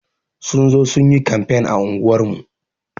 Sun zo sun yi kamfen a unguwar mu.